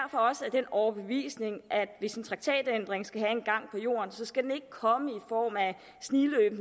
den overbevisning at hvis en traktatændring skal have en gang på jorden skal den ikke komme i form af at snigløbe